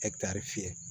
fiyɛ